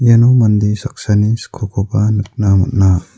iano mande saksani skokoba nikna man·a.